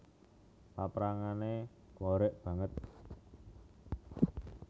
Paprangané horeg banget